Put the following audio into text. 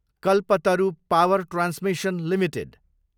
Kalpataru power transmission Ltd